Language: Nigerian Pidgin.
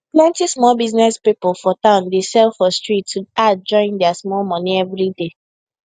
plenty small business people for town dey sell for street to add join their small money everyday